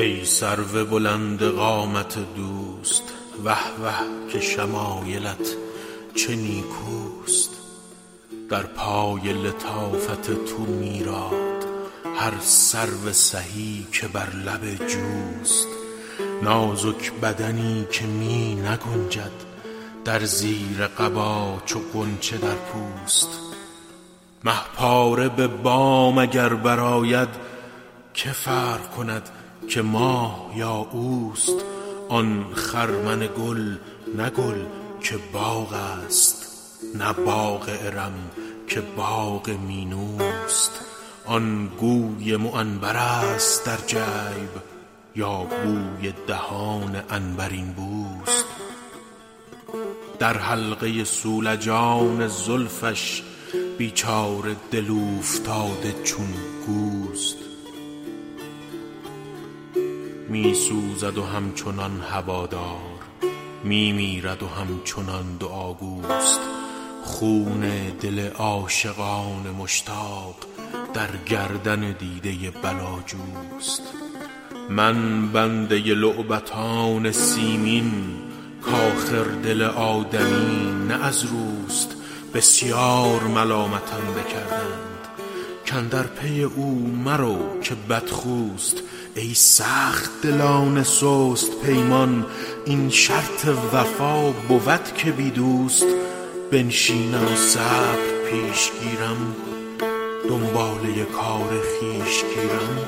ای سرو بلند قامت دوست وه وه که شمایلت چه نیکوست در پای لطافت تو میراد هر سرو سهی که بر لب جوست نازک بدنی که می نگنجد در زیر قبا چو غنچه در پوست مه پاره به بام اگر برآید که فرق کند که ماه یا اوست آن خرمن گل نه گل که باغ است نه باغ ارم که باغ مینوست آن گوی معنبرست در جیب یا بوی دهان عنبرین بوست در حلقه صولجان زلفش بیچاره دل اوفتاده چون گوست می سوزد و همچنان هوادار می میرد و همچنان دعاگوست خون دل عاشقان مشتاق در گردن دیده بلاجوست من بنده لعبتان سیمین کآخر دل آدمی نه از روست بسیار ملامتم بکردند کاندر پی او مرو که بدخوست ای سخت دلان سست پیمان این شرط وفا بود که بی دوست بنشینم و صبر پیش گیرم دنباله کار خویش گیرم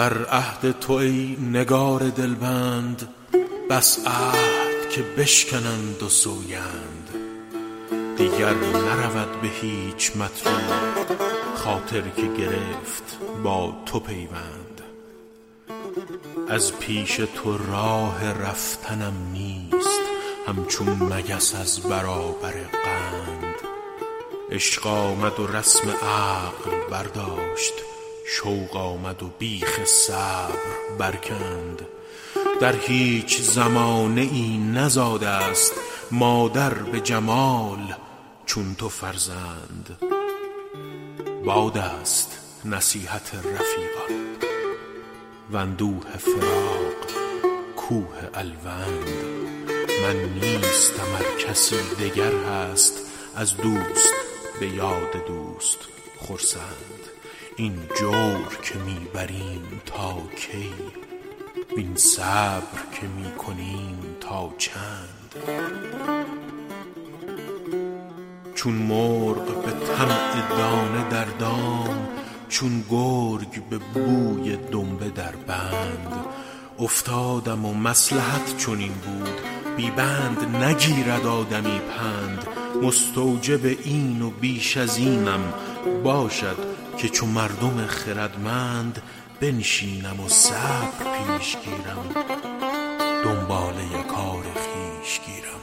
در عهد تو ای نگار دلبند بس عهد که بشکنند و سوگند دیگر نرود به هیچ مطلوب خاطر که گرفت با تو پیوند از پیش تو راه رفتنم نیست همچون مگس از برابر قند عشق آمد و رسم عقل برداشت شوق آمد و بیخ صبر برکند در هیچ زمانه ای نزاده ست مادر به جمال چون تو فرزند باد است نصیحت رفیقان واندوه فراق کوه الوند من نیستم ار کسی دگر هست از دوست به یاد دوست خرسند این جور که می بریم تا کی وین صبر که می کنیم تا چند چون مرغ به طمع دانه در دام چون گرگ به بوی دنبه در بند افتادم و مصلحت چنین بود بی بند نگیرد آدمی پند مستوجب این و بیش از اینم باشد که چو مردم خردمند بنشینم و صبر پیش گیرم دنباله کار خویش گیرم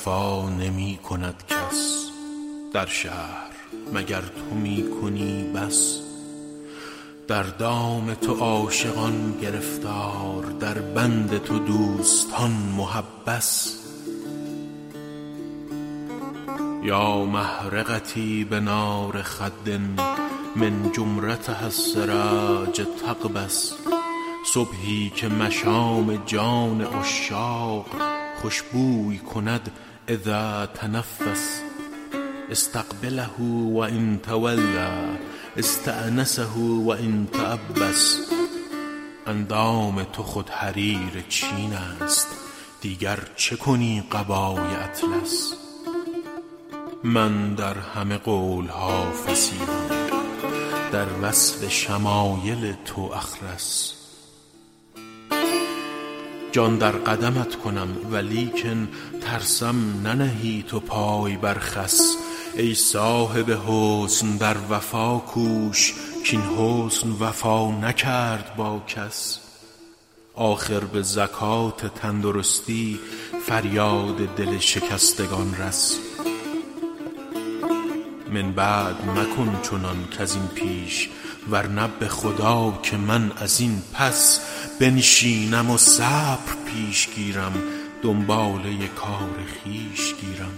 امروز جفا نمی کند کس در شهر مگر تو می کنی بس در دام تو عاشقان گرفتار در بند تو دوستان محبس یا محرقتي بنار خد من جمرتها السراج تقبس صبحی که مشام جان عشاق خوش بوی کند إذا تنفس أستقبله و إن تولیٰ أستأنسه و إن تعبس اندام تو خود حریر چین است دیگر چه کنی قبای اطلس من در همه قول ها فصیحم در وصف شمایل تو أخرس جان در قدمت کنم ولیکن ترسم ننهی تو پای بر خس ای صاحب حسن در وفا کوش کاین حسن وفا نکرد با کس آخر به زکات تندرستی فریاد دل شکستگان رس من بعد مکن چنان کز این پیش ورنه به خدا که من از این پس بنشینم و صبر پیش گیرم دنباله کار خویش گیرم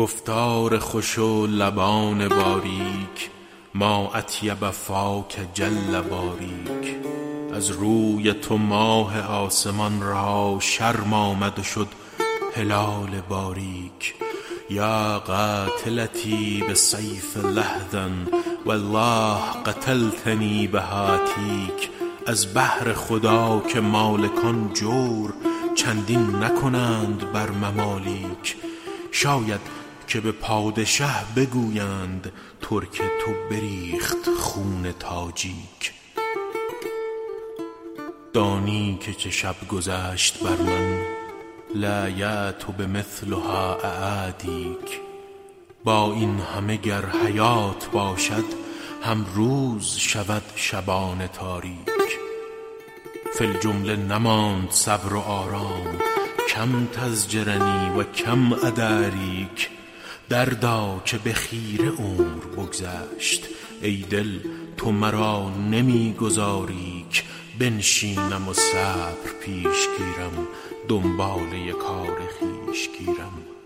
گفتار خوش و لبان باریک ما أطیب فاک جل باریک از روی تو ماه آسمان را شرم آمد و شد هلال باریک یا قاتلتی بسیف لحظ والله قتلتنی بهاتیک از بهر خدا که مالکان جور چندین نکنند بر ممالیک شاید که به پادشه بگویند ترک تو بریخت خون تاجیک دانی که چه شب گذشت بر من لایأت بمثلها أعادیک با این همه گر حیات باشد هم روز شود شبان تاریک فی الجمله نماند صبر و آرام کم تزجرنی و کم أداریک دردا که به خیره عمر بگذشت ای دل تو مرا نمی گذاری ک بنشینم و صبر پیش گیرم دنباله کار خویش گیرم چشمی که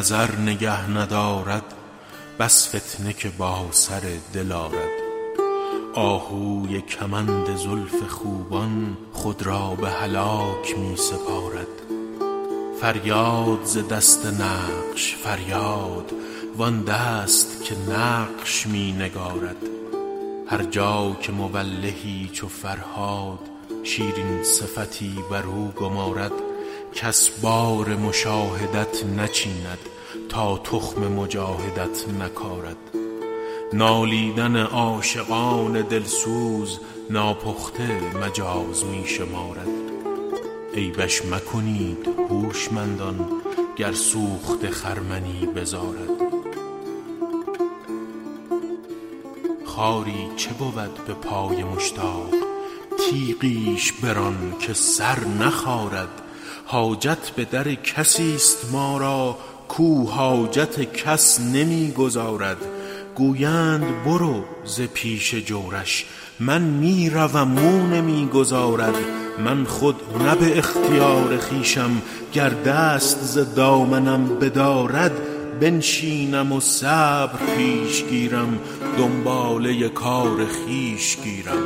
نظر نگه ندارد بس فتنه که با سر دل آرد آهوی کمند زلف خوبان خود را به هلاک می سپارد فریاد ز دست نقش فریاد وآن دست که نقش می نگارد هر جا که مولهی چو فرهاد شیرین صفتی برو گمارد کس بار مشاهدت نچیند تا تخم مجاهدت نکارد نالیدن عاشقان دل سوز ناپخته مجاز می شمارد عیبش مکنید هوشمندان گر سوخته خرمنی بزارد خاری چه بود به پای مشتاق تیغیش بران که سر نخارد حاجت به در کسی ست ما را کاو حاجت کس نمی گزارد گویند برو ز پیش جورش من می روم او نمی گذارد من خود نه به اختیار خویشم گر دست ز دامنم بدارد بنشینم و صبر پیش گیرم دنباله کار خویش گیرم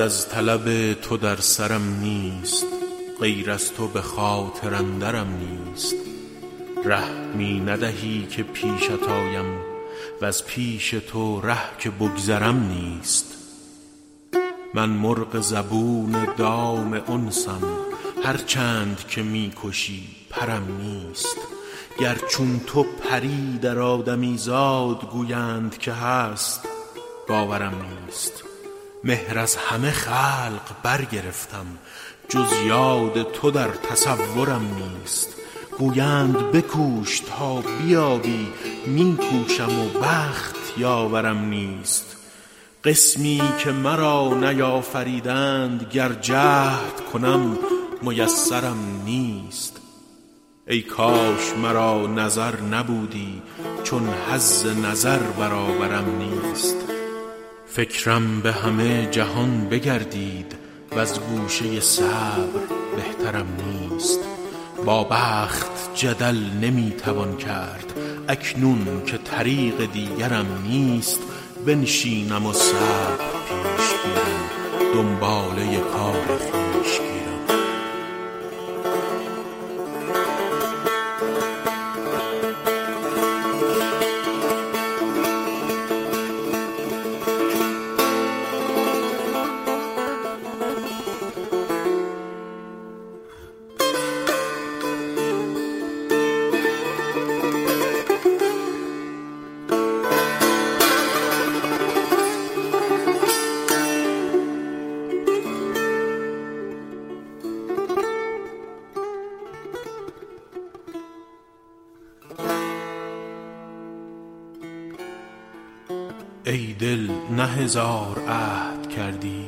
بعد از طلب تو در سرم نیست غیر از تو به خاطر اندرم نیست ره می ندهی که پیشت آیم وز پیش تو ره که بگذرم نیست من مرغ زبون دام انسم هر چند که می کشی پرم نیست گر چون تو پری در آدمیزاد گویند که هست باورم نیست مهر از همه خلق برگرفتم جز یاد تو در تصورم نیست گویند بکوش تا بیابی می کوشم و بخت یاورم نیست قسمی که مرا نیافریدند گر جهد کنم میسرم نیست ای کاش مرا نظر نبودی چون حظ نظر برابرم نیست فکرم به همه جهان بگردید وز گوشه صبر بهترم نیست با بخت جدل نمی توان کرد اکنون که طریق دیگرم نیست بنشینم و صبر پیش گیرم دنباله کار خویش گیرم ای دل نه هزار عهد کردی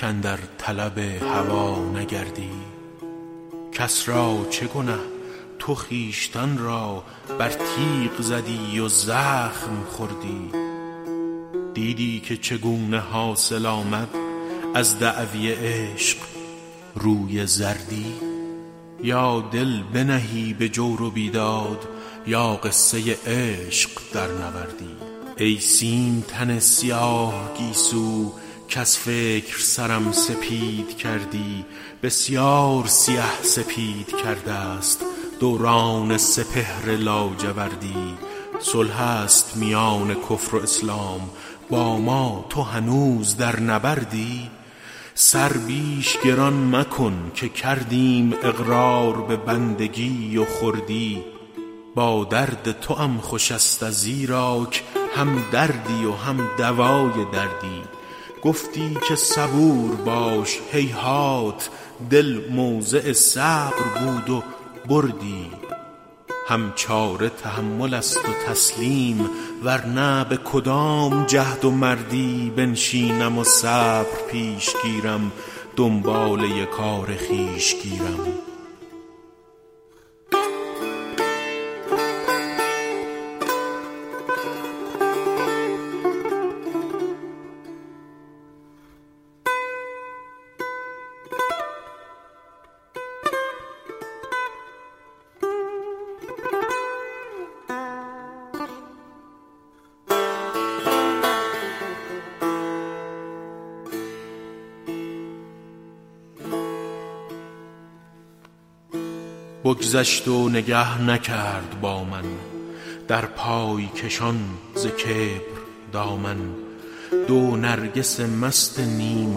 کاندر طلب هوا نگردی کس را چه گنه تو خویشتن را بر تیغ زدی و زخم خوردی دیدی که چگونه حاصل آمد از دعوی عشق روی زردی یا دل بنهی به جور و بیداد یا قصه عشق درنوردی ای سیم تن سیاه گیسو کز فکر سرم سپید کردی بسیار سیه سپید کرده ست دوران سپهر لاجوردی صلح است میان کفر و اسلام با ما تو هنوز در نبردی سر بیش گران مکن که کردیم اقرار به بندگی و خردی با درد توام خوش ست ازیراک هم دردی و هم دوای دردی گفتی که صبور باش هیهات دل موضع صبر بود و بردی هم چاره تحمل است و تسلیم ورنه به کدام جهد و مردی بنشینم و صبر پیش گیرم دنباله کار خویش گیرم بگذشت و نگه نکرد با من در پای کشان ز کبر دامن دو نرگس مست نیم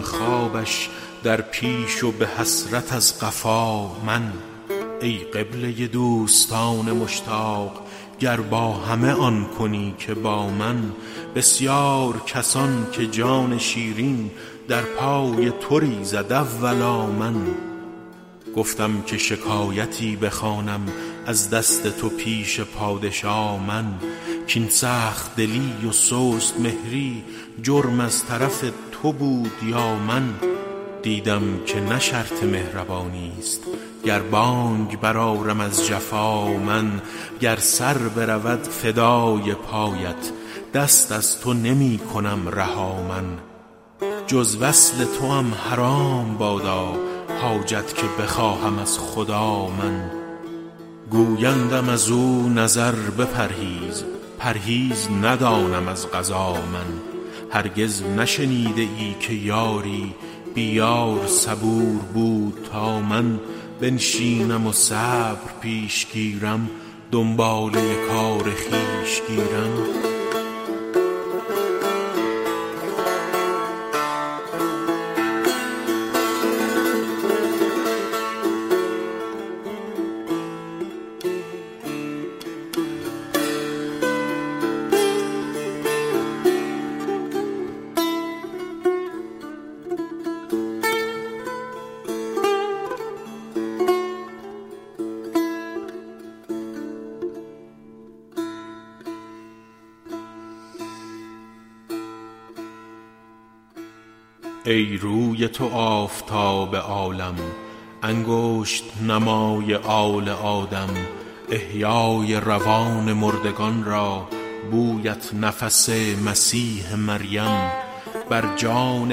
خوابش در پیش و به حسرت از قفا من ای قبله دوستان مشتاق گر با همه آن کنی که با من بسیار کسان که جان شیرین در پای تو ریزد اولا من گفتم که شکایتی بخوانم از دست تو پیش پادشا من کاین سخت دلی و سست مهری جرم از طرف تو بود یا من دیدم که نه شرط مهربانی ست گر بانگ برآرم از جفا من گر سر برود فدای پایت دست از تو نمی کنم رها من جز وصل توام حرام بادا حاجت که بخواهم از خدا من گویندم ازو نظر بپرهیز پرهیز ندانم از قضا من هرگز نشنیده ای که یاری بی یار صبور بود تا من بنشینم و صبر پیش گیرم دنباله کار خویش گیرم ای روی تو آفتاب عالم انگشت نمای آل آدم احیای روان مردگان را بویت نفس مسیح مریم بر جان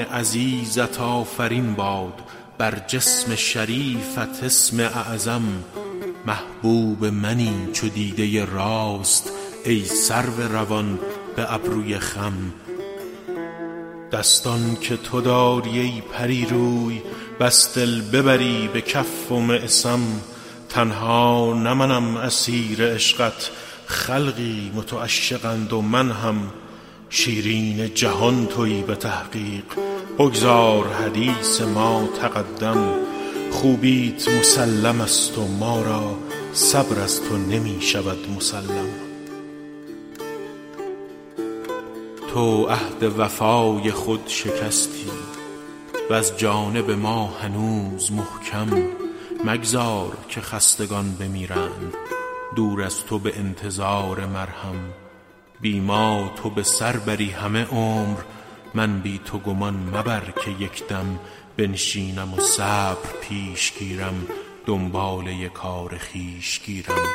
عزیزت آفرین باد بر جسم شریفت اسم اعظم محبوب منی چو دیده راست ای سرو روان به ابروی خم دستان که تو داری ای پری روی بس دل ببری به کف و معصم تنها نه منم اسیر عشقت خلقی متعشقند و من هم شیرین جهان تویی به تحقیق بگذار حدیث ما تقدم خوبیت مسلم ست و ما را صبر از تو نمی شود مسلم تو عهد وفای خود شکستی وز جانب ما هنوز محکم مگذار که خستگان بمیرند دور از تو به انتظار مرهم بی ما تو به سر بری همه عمر من بی تو گمان مبر که یک دم بنشینم و صبر پیش گیرم دنباله کار خویش گیرم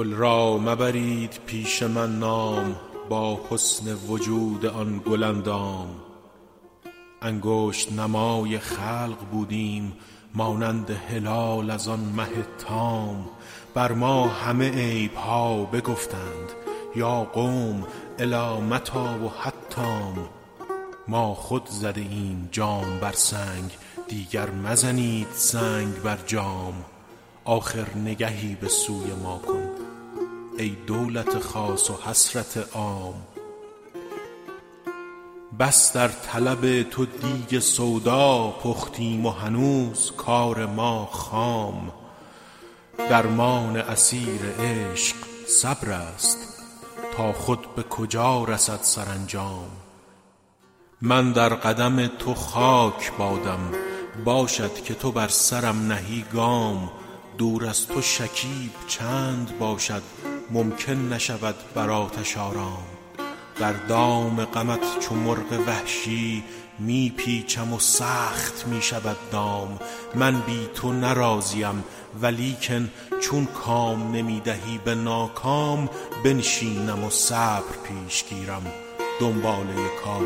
گل را مبرید پیش من نام با حسن وجود آن گل اندام انگشت نمای خلق بودیم مانند هلال از آن مه تام بر ما همه عیب ها بگفتند یا قوم إلی متیٰ و حتام ما خود زده ایم جام بر سنگ دیگر مزنید سنگ بر جام آخر نگهی به سوی ما کن ای دولت خاص و حسرت عام بس در طلب تو دیگ سودا پختیم و هنوز کار ما خام درمان اسیر عشق صبرست تا خود به کجا رسد سرانجام من در قدم تو خاک بادم باشد که تو بر سرم نهی گام دور از تو شکیب چند باشد ممکن نشود بر آتش آرام در دام غمت چو مرغ وحشی می پیچم و سخت می شود دام من بی تو نه راضیم ولیکن چون کام نمی دهی به ناکام بنشینم و صبر پیش گیرم دنباله کار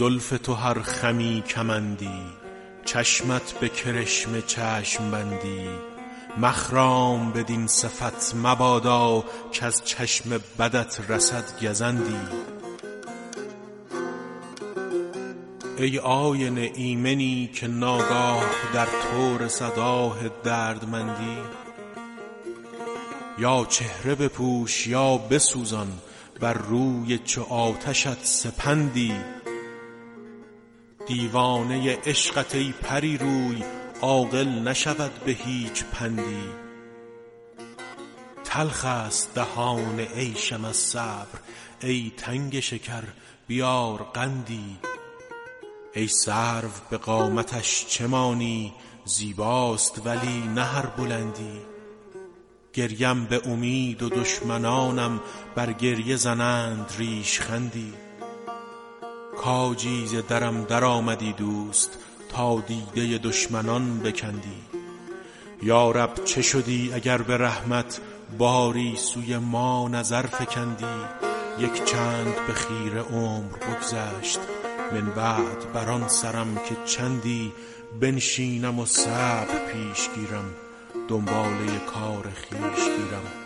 خویش گیرم ای زلف تو هر خمی کمندی چشمت به کرشمه چشم بندی مخرام بدین صفت مبادا کز چشم بدت رسد گزندی ای آینه ایمنی که ناگاه در تو رسد آه دردمندی یا چهره بپوش یا بسوزان بر روی چو آتشت سپندی دیوانه عشقت ای پری روی عاقل نشود به هیچ پندی تلخ ست دهان عیشم از صبر ای تنگ شکر بیار قندی ای سرو به قامتش چه مانی زیباست ولی نه هر بلندی گریم به امید و دشمنانم بر گریه زنند ریشخندی کاجی ز درم درآمدی دوست تا دیده دشمنان بکندی یا رب چه شدی اگر به رحمت باری سوی ما نظر فکندی یک چند به خیره عمر بگذشت من بعد بر آن سرم که چندی بنشینم و صبر پیش گیرم دنباله کار خویش گیرم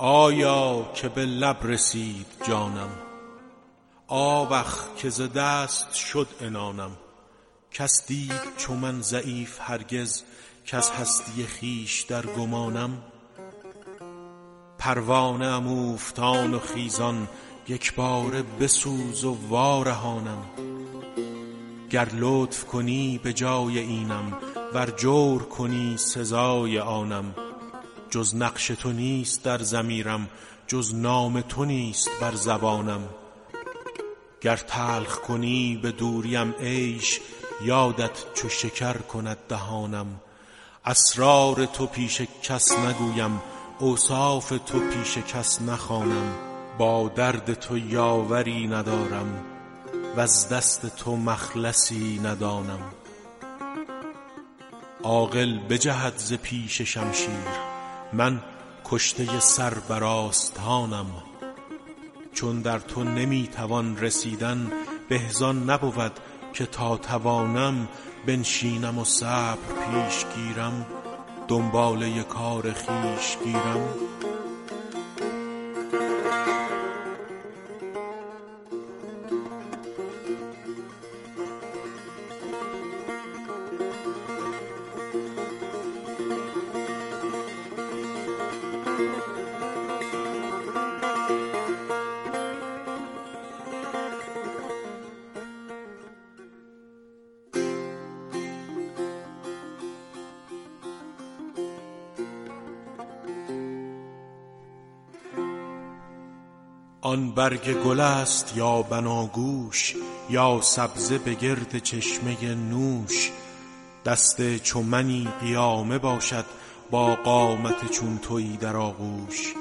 آیا که به لب رسید جانم آوخ که ز دست شد عنانم کس دید چو من ضعیف هرگز کز هستی خویش در گمانم پروانه ام اوفتان و خیزان یک باره بسوز و وارهانم گر لطف کنی به جای اینم ور جور کنی سزای آنم جز نقش تو نیست در ضمیرم جز نام تو نیست بر زبانم گر تلخ کنی به دوریم عیش یادت چو شکر کند دهانم اسرار تو پیش کس نگویم اوصاف تو پیش کس نخوانم با درد تو یاوری ندارم وز دست تو مخلصی ندانم عاقل بجهد ز پیش شمشیر من کشته سر بر آستانم چون در تو نمی توان رسیدن به زآن نبود که تا توانم بنشینم و صبر پیش گیرم دنباله کار خویش گیرم آن برگ گل ست یا بناگوش یا سبزه به گرد چشمه نوش دست چو منی قیامه باشد با قامت چون تویی در آغوش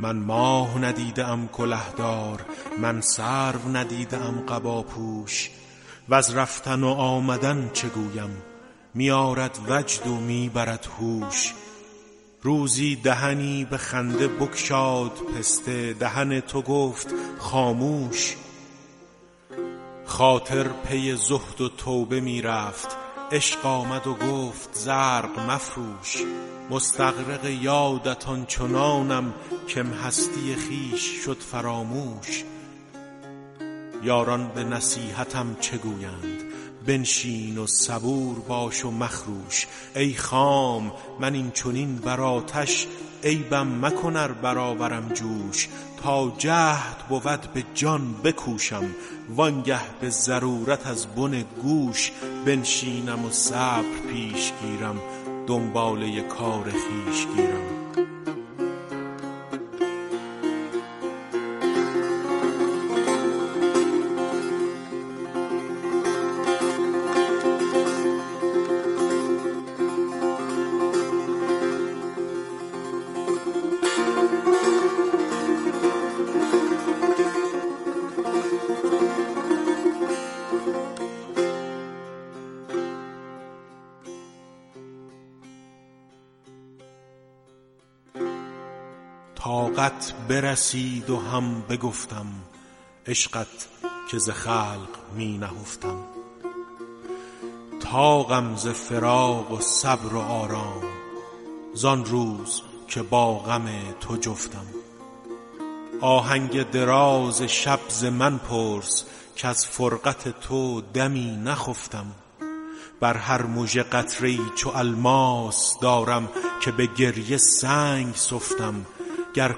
من ماه ندیده ام کله دار من سرو ندیده ام قباپوش وز رفتن و آمدن چه گویم می آرد وجد و می برد هوش روزی دهنی به خنده بگشاد پسته دهن تو گفت خاموش خاطر پی زهد و توبه می رفت عشق آمد و گفت زرق مفروش مستغرق یادت آن چنانم کم هستی خویش شد فراموش یاران به نصیحتم چه گویند بنشین و صبور باش و مخروش ای خام من این چنین بر آتش عیبم مکن ار برآورم جوش تا جهد بود به جان بکوشم وآن گه به ضرورت از بن گوش بنشینم و صبر پیش گیرم دنباله کار خویش گیرم طاقت برسید و هم بگفتم عشقت که ز خلق می نهفتم طاقم ز فراق و صبر و آرام زآن روز که با غم تو جفتم آهنگ دراز شب ز من پرس کز فرقت تو دمی نخفتم بر هر مژه قطره ای چو الماس دارم که به گریه سنگ سفتم گر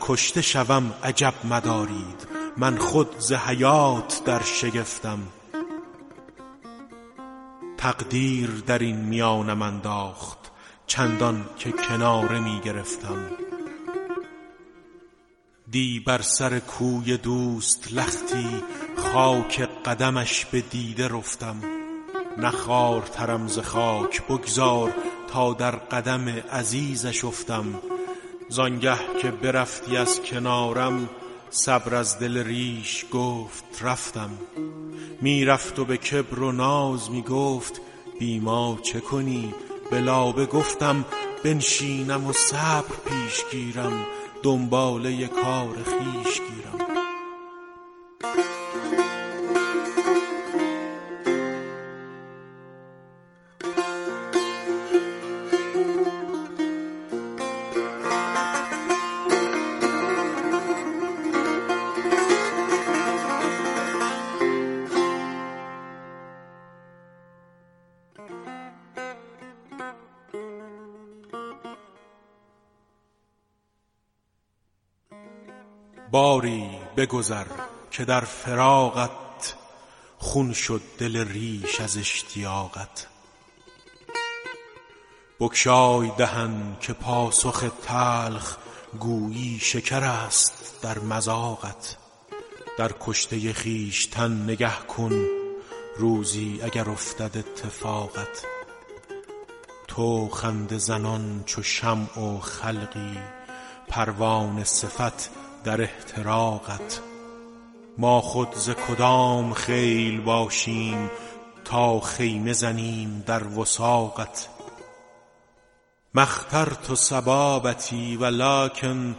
کشته شوم عجب مدارید من خود ز حیات در شگفتم تقدیر درین میانم انداخت چندان که کناره می گرفتم دی بر سر کوی دوست لختی خاک قدمش به دیده رفتم نه خوارترم ز خاک بگذار تا در قدم عزیزش افتم زآن گه که برفتی از کنارم صبر از دل ریش گفت رفتم می رفت و به کبر و ناز می گفت بی ما چه کنی به لابه گفتم بنشینم و صبر پیش گیرم دنباله کار خویش گیرم باری بگذر که در فراقت خون شد دل ریش از اشتیاقت بگشای دهن که پاسخ تلخ گویی شکرست در مذاقت در کشته خویشتن نگه کن روزی اگر افتد اتفاقت تو خنده زنان چو شمع و خلقی پروانه صفت در احتراقت ما خود ز کدام خیل باشیم تا خیمه زنیم در وثاقت ما اخترت صبابتی ولکن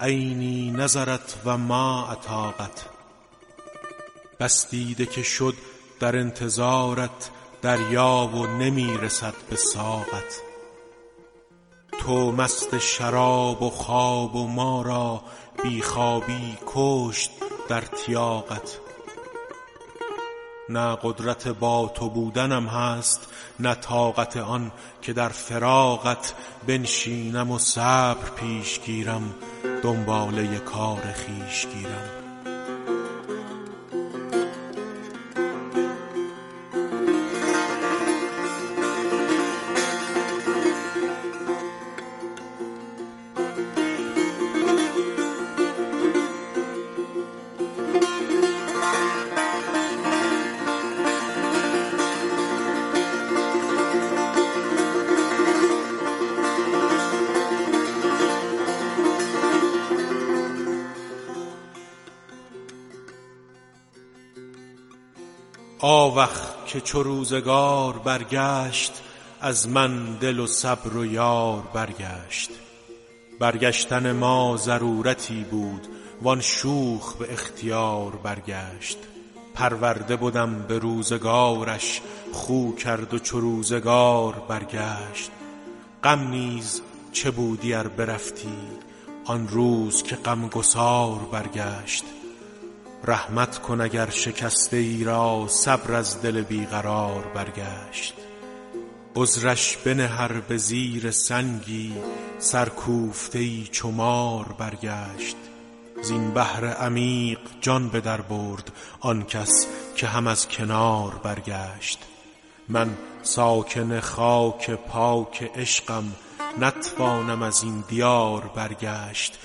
عینی نظرت و ما اطاقت بس دیده که شد در انتظارت دریا و نمی رسد به ساقت تو مست شراب و خواب و ما را بی خوابی بکشت در تیاقت نه قدرت با تو بودنم هست نه طاقت آن که در فراقت بنشینم و صبر پیش گیرم دنباله کار خویش گیرم آوخ که چو روزگار برگشت از من دل و صبر و یار برگشت برگشتن ما ضرورتی بود وآن شوخ به اختیار برگشت پرورده بدم به روزگارش خو کرد و چو روزگار برگشت غم نیز چه بودی ار برفتی آن روز که غم گسار برگشت رحمت کن اگر شکسته ای را صبر از دل بی قرار برگشت عذرش بنه ار به زیر سنگی سرکوفته ای چو مار برگشت زین بحر عمیق جان به در برد آن کس که هم از کنار برگشت من ساکن خاک پاک عشقم نتوانم ازین دیار برگشت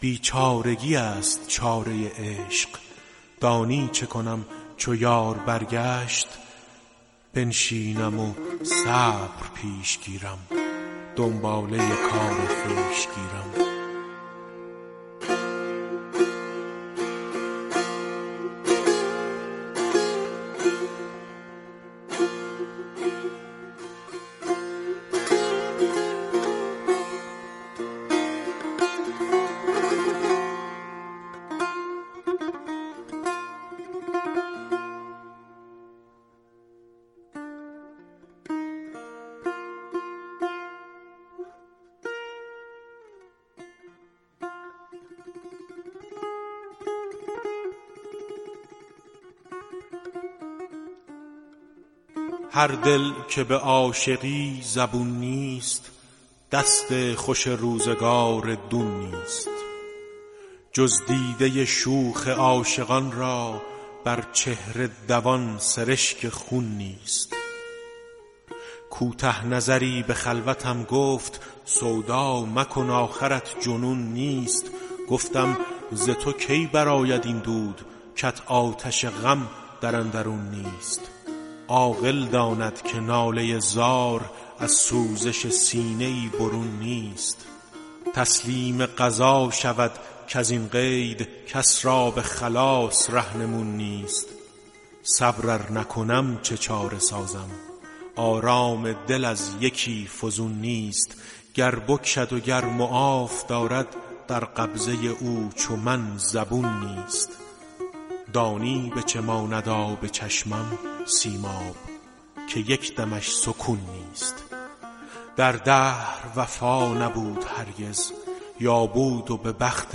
بیچارگی ست چاره عشق دانی چه کنم چو یار برگشت بنشینم و صبر پیش گیرم دنباله کار خویش گیرم هر دل که به عاشقی زبون نیست دست خوش روزگار دون نیست جز دیده شوخ عاشقان را بر چهره دوان سرشک خون نیست کوته نظری به خلوتم گفت سودا مکن آخرت جنون نیست گفتم ز تو کی برآید این دود کت آتش غم در اندرون نیست عاقل داند که ناله زار از سوزش سینه ای برون نیست تسلیم قضا شود کزین قید کس را به خلاص رهنمون نیست صبر ار نکنم چه چاره سازم آرام دل از یکی فزون نیست گر بکشد و گر معاف دارد در قبضه او چو من زبون نیست دانی به چه ماند آب چشمم سیماب که یک دمش سکون نیست در دهر وفا نبود هرگز یا بود و به بخت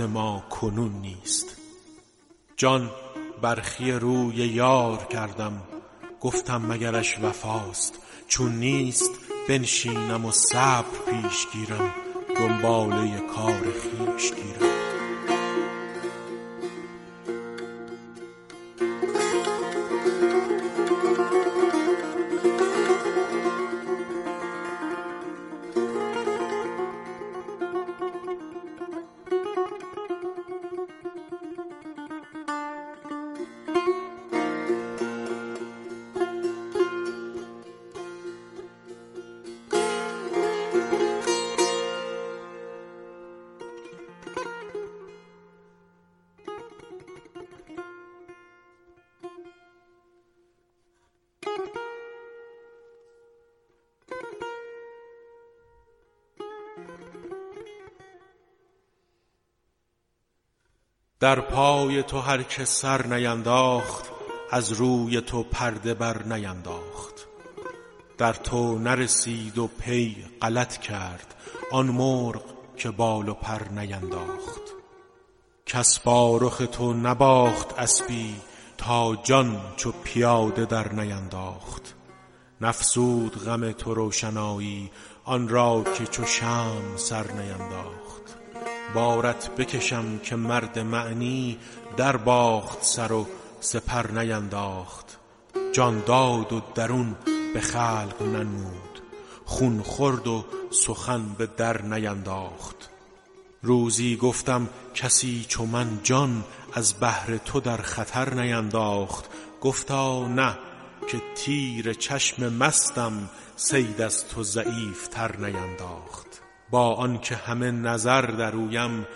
ما کنون نیست جان برخی روی یار کردم گفتم مگرش وفاست چون نیست بنشینم و صبر پیش گیرم دنباله کار خویش گیرم در پای تو هر که سر نینداخت از روی تو پرده بر نینداخت در تو نرسید و پی غلط کرد آن مرغ که بال و پر نینداخت کس با رخ تو نباخت اسبی تا جان چو پیاده در نینداخت نفزود غم تو روشنایی آن را که چو شمع سر نینداخت بارت بکشم که مرد معنی در باخت سر و سپر نینداخت جان داد و درون به خلق ننمود خون خورد و سخن به در نینداخت روزی گفتم کسی چو من جان از بهر تو در خطر نینداخت گفتا نه که تیر چشم مستم صید از تو ضعیف تر نینداخت با آن که همه نظر در اویم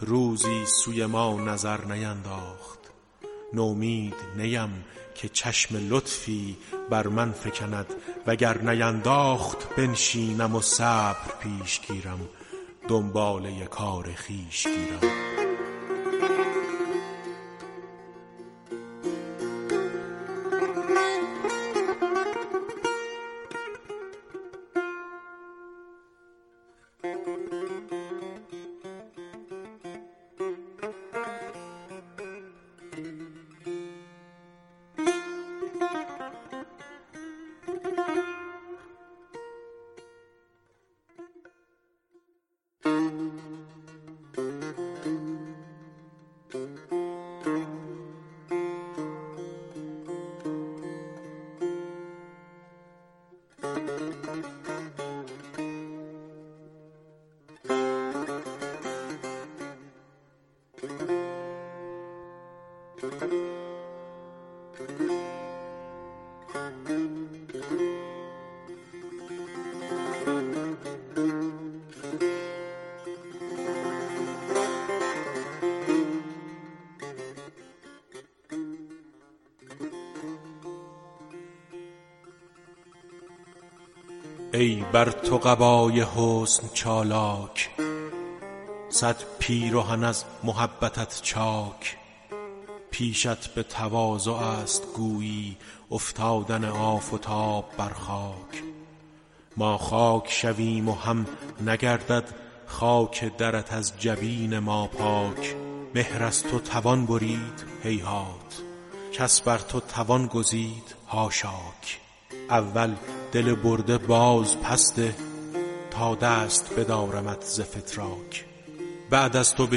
روزی سوی ما نظر نینداخت نومید نیم که چشم لطفی بر من فکند وگر نینداخت بنشینم و صبر پیش گیرم دنباله کار خویش گیرم ای بر تو قبای حسن چالاک صد پیرهن از محبتت چاک پیشت به تواضع ست گویی افتادن آفتاب بر خاک ما خاک شویم و هم نگردد خاک درت از جبین ما پاک مهر از تو توان برید هیهات کس بر تو توان گزید حاشاک اول دل برده باز پس ده تا دست بدارمت ز فتراک بعد از تو به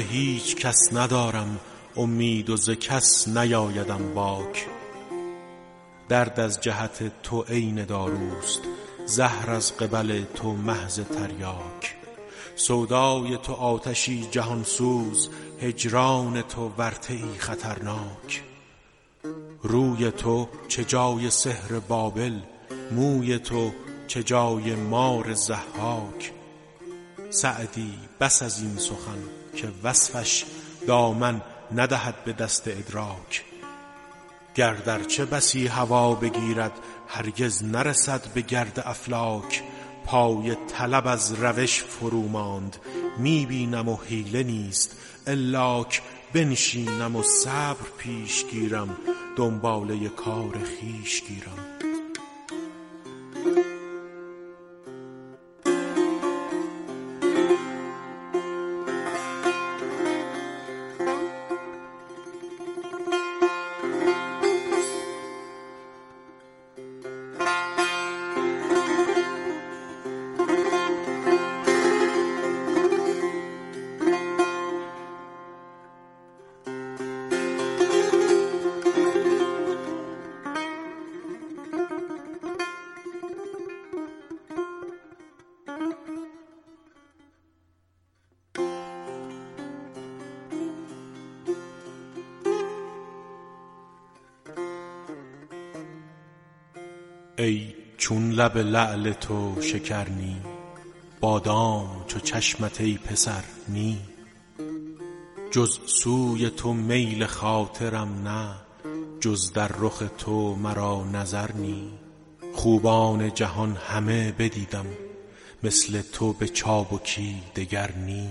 هیچ کس ندارم امید و ز کس نیآیدم باک درد از جهت تو عین داروست زهر از قبل تو محض تریاک سودای تو آتشی جهان سوز هجران تو ورطه ای خطرناک روی تو چه جای سحر بابل موی تو چه جای مار ضحاک سعدی بس ازین سخن که وصفش دامن ندهد به دست ادراک گرد ارچه بسی هوا بگیرد هرگز نرسد به گرد افلاک پای طلب از روش فرو ماند می بینم و حیله نیست الاک بنشینم و صبر پیش گیرم دنباله کار خویش گیرم ای چون لب لعل تو شکر نی بادام چو چشمت ای پسر نی جز سوی تو میل خاطرم نه جز در رخ تو مرا نظر نی خوبان جهان همه بدیدم مثل تو به چابکی دگر نی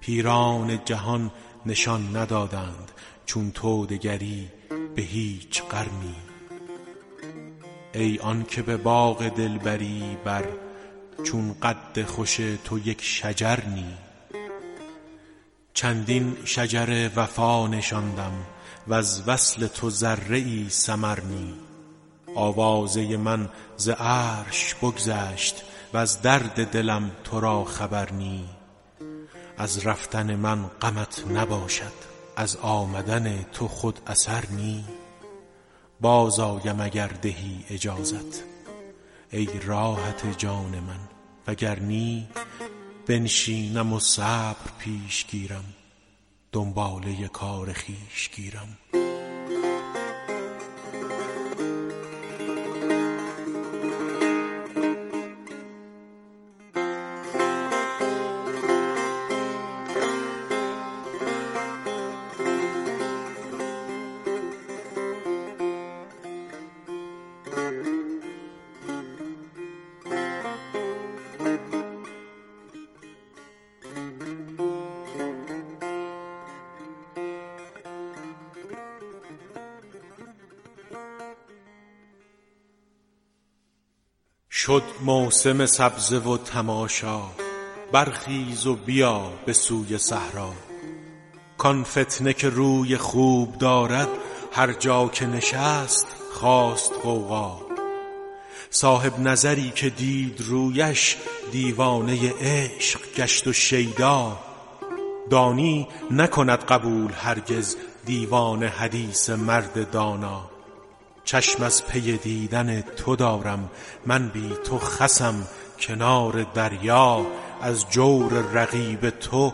پیران جهان نشان ندادند چون تو دگری به هیچ قرنی ای آن که به باغ دلبری بر چون قد خوش تو یک شجر نی چندین شجر وفا نشاندم وز وصل تو ذره ای ثمر نی آوازه من ز عرش بگذشت وز درد دلم تو را خبر نی از رفتن من غمت نباشد از آمدن تو خود اثر نی باز آیم اگر دهی اجازت ای راحت جان من وگر نی بنشینم و صبر پیش گیرم دنباله کار خویش گیرم شد موسم سبزه و تماشا برخیز و بیا به سوی صحرا کآن فتنه که روی خوب دارد هر جا که نشست خاست غوغا صاحب نظری که دید رویش دیوانه عشق گشت و شیدا دانی نکند قبول هرگز دیوانه حدیث مرد دانا چشم از پی دیدن تو دارم من بی تو خسم کنار دریا از جور رقیب تو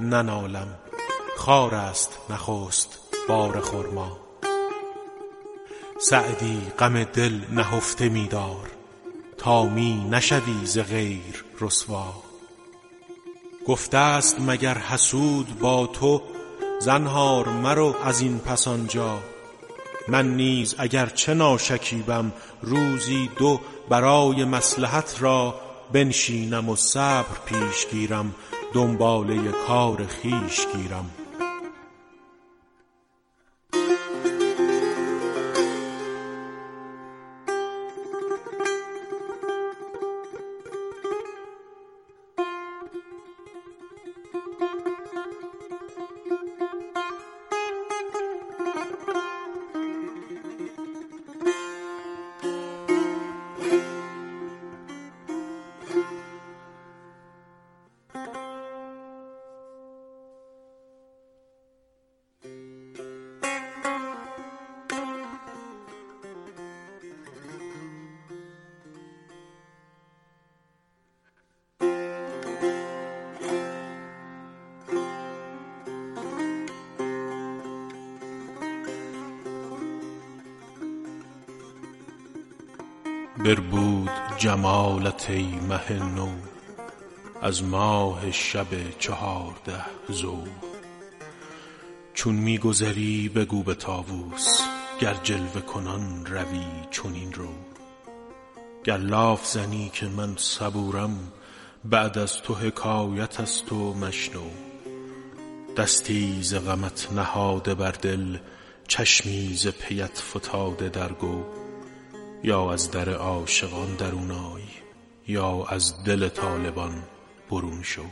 ننالم خارست نخست بار خرما سعدی غم دل نهفته می دار تا می نشوی ز غیر رسوا گفته ست مگر حسود با تو زنهار مرو ازین پس آنجا من نیز اگر چه ناشکیبم روزی دو برای مصلحت را بنشینم و صبر پیش گیرم دنباله کار خویش گیرم بربود جمالت ای مه نو از ماه شب چهارده ضو چون می گذری بگو به طاوس گر جلوه کنان روی چنین رو گر لاف زنم که من صبورم بعد از تو حکایت ست و مشنو دستی ز غمت نهاده بر دل چشمی ز پیت فتاده در گو یا از در عاشقان درون آی یا از دل طالبان برون شو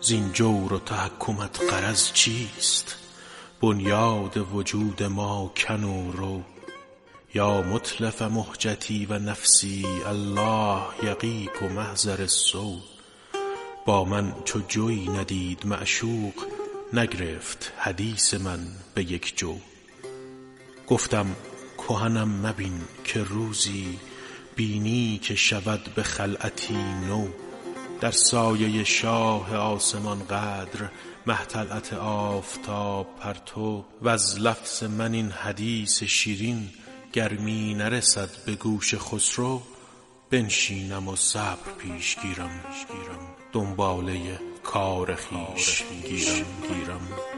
زین جور و تحکمت غرض چیست بنیاد وجود ما کن و رو یا متلف مهجتی و نفسی الله یقیک محضر السو با من چو جویی ندید معشوق نگرفت حدیث من به یک جو گفتم کهنم مبین که روزی بینی که شود به خلعتی نو در سایه شاه آسمان قدر مه طلعت آفتاب پرتو وز لفظ من این حدیث شیرین گر می نرسد به گوش خسرو بنشینم و صبر پیش گیرم دنباله کار خویش گیرم